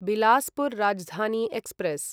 Bilaspur Rajdhani express